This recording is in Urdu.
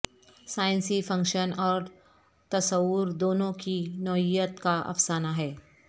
سائنسی فکشن اور تصور دونوں کی نوعیت کا افسانہ ہے